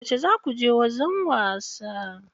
Yauce zaku je wajen wasa?